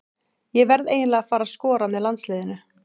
Ég verð eiginlega að fara að skora með landsliðinu.